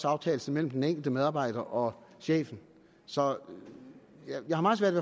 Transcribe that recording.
aftales imellem den enkelte medarbejder og chefen så jeg har meget svært